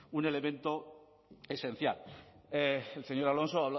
un elemento esencial el señor alonso